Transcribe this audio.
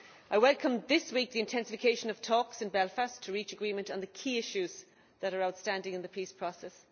I welcome this week the intensification of talks in Belfast to reach agreement on the key issues that are outstanding in the peace process.